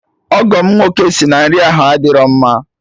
Ọgọ m nwoke sị na nri ahụ adịrọ mma